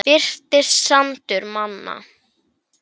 Birtist þarna sandur manna.